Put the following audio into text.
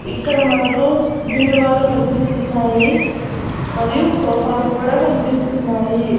ఇక్కడ మనకు బీరువాలు కనిపిస్తున్నాయి మరియు సోఫాలు కూడా కనిపిస్తున్నాయి.